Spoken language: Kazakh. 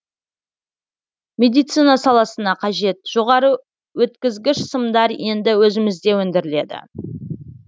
медицина саласына қажет жоғары өткізгіш сымдар енді өзімізде өндіріледі